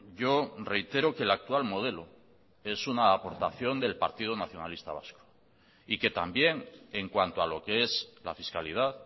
yo reitero que el actual modelo es una aportación del partido nacionalista vasco y que también en cuanto a lo que es la fiscalidad